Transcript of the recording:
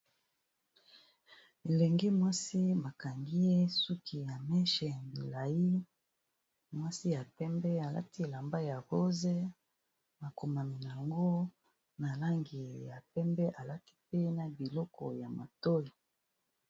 Elenge mwasi ma kangi ye suki ya meche ya milayi, mwasi ya pembe alati elamba ya rose. Makomami nango na langi ya pembe, alati pe na biloko ya matoyi.